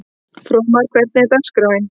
Fróðmar, hvernig er dagskráin?